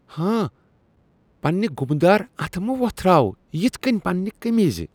ہان۔ پننہِ گُمہٕ دار اتھہٕ مہٕ ووٚتھراو یِتھ كٕنۍ پننہِ قمیضہ۔